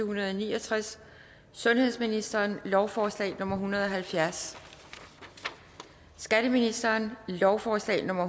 hundrede og ni og tres sundhedsministeren lovforslag nummer hundrede og halvfjerds skatteministeren lovforslag nummer